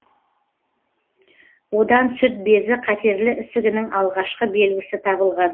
одан сүт безі қатерлі ісігінің алғашқы белгісі табылған